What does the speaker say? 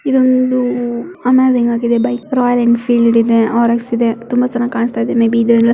ಇದು ಒಂದು bike Royal Enfield ಇದೆ ಆರ್_ಎಕ್ಸ್ ಇದೆ. ತುಂಬಾ ಚನ್ನಾಗಿ ಕಾಣಸ್ತಾ ಇದೆ. ಮೇ ಬಿ ಇದೆಲ್ಲ--